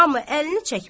amma əlini çəkmədi.